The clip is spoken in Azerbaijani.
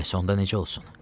Bəs onda necə olsun?